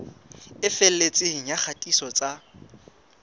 e felletseng ya kgatiso tsa